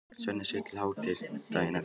Svenni sefur til hádegis daginn eftir.